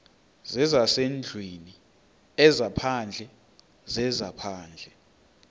zezasendlwini ezaphandle zezaphandle